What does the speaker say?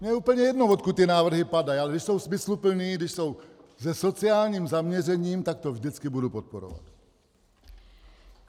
Mně je úplně jedno, odkud ty návrhy padají, ale když jsou smysluplné, když jsou se sociálním zaměřením, tak to vždycky budu podporovat.